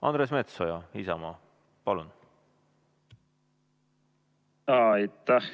Andres Metsoja, Isamaa, palun!